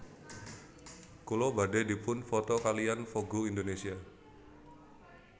Kula badhe dipun foto kaliyan Vogue Indonesia